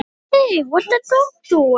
Ég gaf mig ekki!